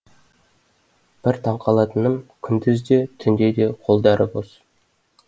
бір таңқалатыным күндіз де түнде де қолдары бос